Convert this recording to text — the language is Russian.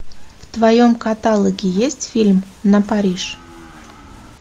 в твоем каталоге есть фильм на париж